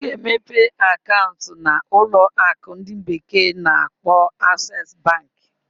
M ga-emepe akaụntụ na ụlọ akụ ndi bekee na-akpo Aksesu Bank.